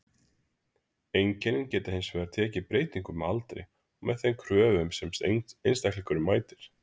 Einkennin geta hins vegar tekið breytingum með aldri og með þeim kröfum sem einstaklingurinn mætir.